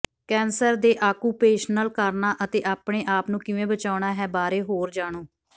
cancer ਦੇ occupational ਕਾਰਨਾਂ ਅਤੇ ਆਪਣੇ ਆਪ ਨੂੰ ਕਿਵੇਂ ਬਚਾਉਣਾ ਹੈ ਬਾਰੇ ਹੋਰ ਜਾਣੋ